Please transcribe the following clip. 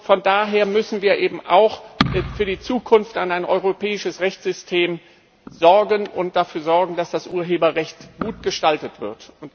Von daher müssen wir auch in Zukunft für ein europäisches Rechtssystem sorgen und dafür sorgen, dass das Urheberrecht gut gestaltet wird.